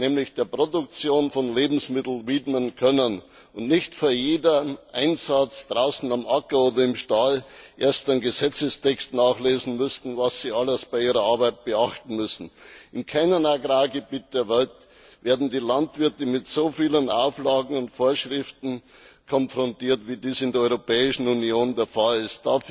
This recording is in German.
nämlich der Produktion von Lebensmitteln, widmen können und nicht für jeden Einsatz draußen auf dem Acker oder im Stall erst einen Gesetzestext nachlesen müssen, was sie alles bei ihrer Arbeit beachten müssen. In keinem Agrargebiet der Welt werden die Landwirte mit so vielen Auflagen und Vorschriften konfrontiert, wie dies in der Europäischen Union der Fall ist.